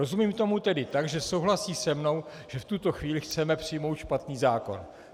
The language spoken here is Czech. Rozumím tomu tedy tak, že souhlasí se mnou, že v tuto chvíli chceme přijmout špatný zákon.